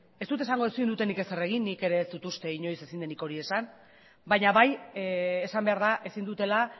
ez dut esango ezin dutenek ezer egin nik ere ez dut uste inoiz ezin denik hori esan baina bai esan behar da ezin dutela